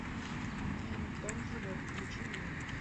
фильм тонкий лед включи мне